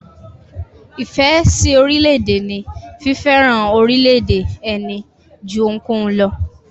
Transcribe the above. Ìfẹ́ sí orílẹ̀-èdè ní fífẹ́ràn orílẹ̀-èdè ẹni jú ohunkóhun lọ.